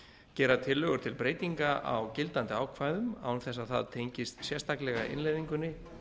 gera tillögur til breytinga á gildandi ákvæðum án þess að það tengist sérstaklega innleiðingunni